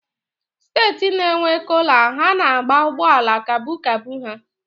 Steeti na-enwe Kọlọ ha na-agba ụgbọala kabu kabu ha